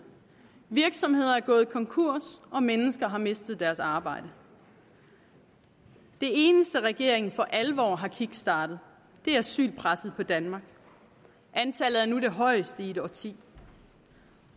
virksomheder er gået konkurs og mennesker har mistet deres arbejde det eneste regeringen for alvor har kickstartet er asylpresset på danmark antallet er nu det højeste i et årti